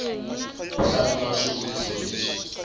u hlamula swivutiso leswi swi